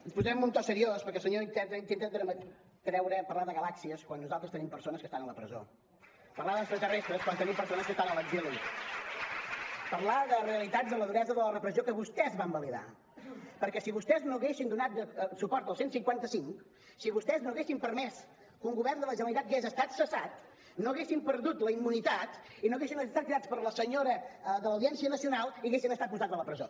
no hi posem un to seriós perquè el senyor iceta intenta parlar de galàxies quan nosaltres tenim persones que estan a la presó parlar d’extraterrestres quan tenim persones que estan a l’exili parlar de realitats de la duresa de la repressió que vostès van validar perquè si vostès no haguessin donat suport al cent i cinquanta cinc si vostès no haguessin permès que un govern de la generalitat hagués estat cessat no haguessin perdut la immunitat i no haguessin estat cridats per la senyora de l’audiència nacional ni haguessin estat posats a la presó